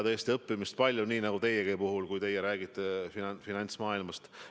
Tõesti, õppida on palju, nii nagu teiegi puhul, kui te räägite finantsmaailmast.